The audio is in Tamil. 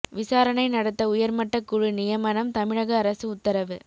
விசாரணை நடத்த உயர்மட்ட குழு நியமனம் தமிழக அரசு உத்தரவு